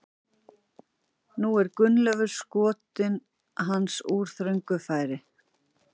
Nú er Gunnleifur skot hans úr þröngu færi.